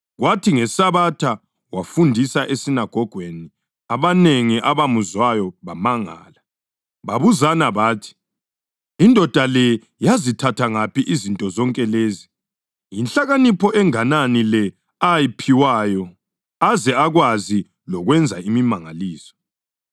Kwathi ngeSabatha wafundisa esinagogweni, abanengi abamuzwayo bamangala. Babuzana bathi, “Indoda le yazithatha ngaphi izinto zonke lezi? Yinhlakanipho enganani le ayiphiwayo aze akwazi lokwenza imimangaliso!